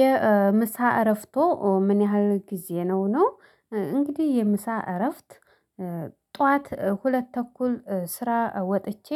የምሳ እረፍቶ ምን ያህል ጊዜ ነው? ነው እንግዲህ የምሳ እረፍት ጠዋት ሁለት ተኩል ስራ ወጥቼ